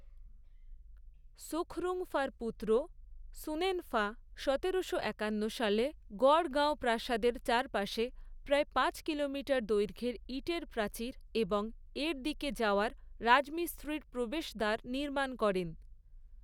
সুখরুংফার পুত্র সুনেনফা সতেরোশো একান্ন সালে গড়গাঁও প্রাসাদের চারপাশে প্রায় পাঁচ কিলোমিটার দৈর্ঘ্যের ইটের প্রাচীর এবং এর দিকে যাওয়ার রাজমিস্ত্রির প্রবেশদ্বার নির্মাণ করেন।